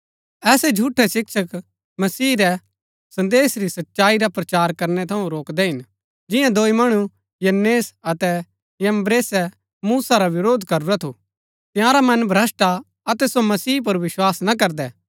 ऐसै झूठै शिक्षक मसीह रै संदेश री सच्चाई रा प्रचार करनै थऊँ रोकदै हिन जिआं दोई मणु यन्‍नेस अतै यम्‍ब्रेसे मूसा रा वरोध करूरा थू तंयारा मन भ्रष्‍ट हा अतै सो मसीह पुर विस्वास ना करदै